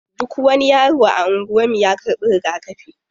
Duk wani yaro a anguwan mu ya karɓi rigakafi.